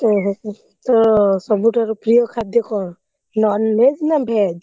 ଓହୋ ତୋର ସବୁଠାରୁ ପ୍ରିୟ ଖାଦ୍ୟ କଣ? non-veg ନା veg ?